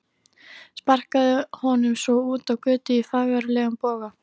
Sparkaði honum svo út á götu í fagurlegum boga.